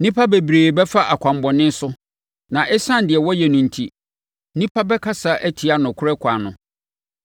Nnipa bebree bɛfa akwammɔne so na ɛsiane deɛ wɔyɛ no enti, nnipa bɛkasa atia nokorɛ ɛkwan no.